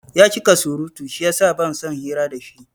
Yacika surutu shiyasa bansan hira dashi